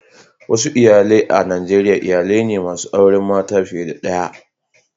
Wasu iyalai a Najeriya iyalai ne masu auren mata fiye da daya.